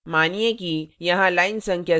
मानिए कि यहां line संख्या 7 पर